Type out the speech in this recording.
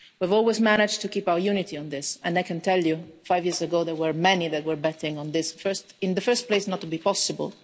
We have always managed to keep our unity on this, and I can tell you that five years ago, there were many that were betting on this in the first place for it not to be possible